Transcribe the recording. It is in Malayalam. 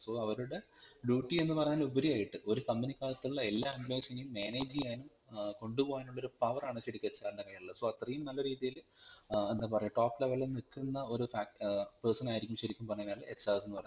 so അവരുടെ duty എന്ന് പറയുന്നതിന് ഉപരിയായിട്ട് ഒരു company ക്കകത്തുള്ള എല്ലാ employees നെയും manage ചെയ്യാനു ഏർ കൊണ്ടുപോകാനുള്ളൊരു power ആണ് ശരിക്കും ഒരു HR ൻറെ കഴിയിലുള്ളത് so അത്രയും നല്ല രീതിയില് ഏർ എന്താപറയാ Top level ൽനിൽക്കുന്ന ഒരു ഫേ ഏർ person ആയിരിക്കും ശരിക്കും പറഞ്ഞുകഴിനാൽ HR എന്ന് പറയുന്നത്